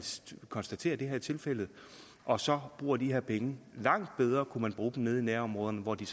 konstaterer at det er tilfældet og så kunne bruge de her penge langt bedre nede i nærområderne hvor de